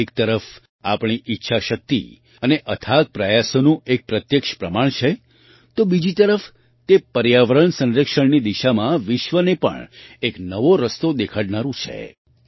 તે એક તરફ આપણી ઈચ્છાશક્તિ અને અથાગ પ્રયાસોનું એક પ્રત્યક્ષ પ્રમાણ છે તો બીજી તરફ તે પર્યાવરણ સંરક્ષણની દિશામાં વિશ્વને પણ એક નવો રસ્તો દેખાડનારું છે